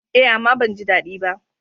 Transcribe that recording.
Eh, amma ban ji dadi ba.